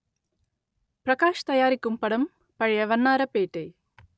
பிரகாஷ் தயாரிக்கும் படம் பழைய வண்ணாரப்பேட்டை